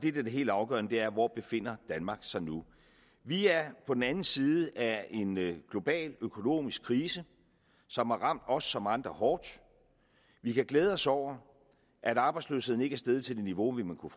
er det helt afgørende er hvor danmark befinder sig nu vi er på den anden side af en global økonomisk krise som har ramt os som andre hårdt vi kan glæde os over at arbejdsløsheden ikke er steget til et niveau vi kunne